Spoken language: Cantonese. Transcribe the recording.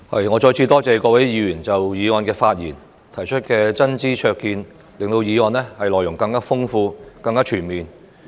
我再次多謝各位議員就議案發言和提出真知灼見，令議案的內容更豐富、更全面。